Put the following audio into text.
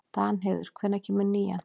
Danheiður, hvenær kemur nían?